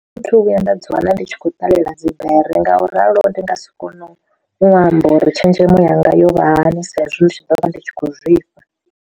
Thi thu vhuya nda dzi wana ndi tshi khou ṱalela dzi bere nga u ralo ndi nga si kone u amba uri tshenzhemo yanga yo vha hani sa izwi ndi tshi ḓo vha ndi tshi khou zwifha.